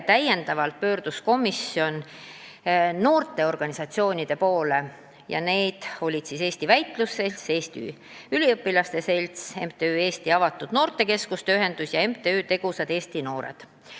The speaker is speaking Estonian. Veel pöördus komisjon noorteorganisatsioonide poole, kelleks olid Eesti Väitlusselts, Eesti Üliõpilaste Selts, MTÜ Eesti Avatud Noortekeskuste Ühendus ja MTÜ Tegusad Eesti Noored.